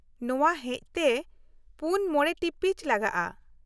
-ᱱᱚᱶᱟ ᱦᱮᱪ ᱛᱮ ᱔ᱼ᱕ ᱴᱤᱯᱤᱪ ᱞᱟᱜᱟᱜᱼᱟ ᱾